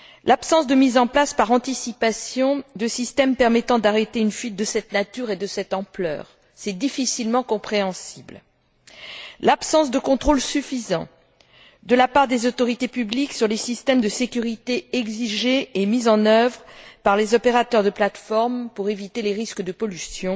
L'absence de mise en place, par anticipation, de systèmes permettant d'arrêter une fuite de cette nature et de cette ampleur, est difficilement compréhensible. Tout comme l'absence de contrôles suffisants, de la part des autorités publiques, sur des systèmes de sécurité exigés et mis en œuvre par les opérateurs de plateforme pour éviter les risques de pollution